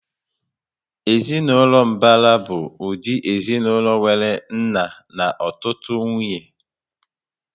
Ezinaụlọ mbara bụ ụdị ezinaụlọ nwéré nna na ọtụtụ nwunye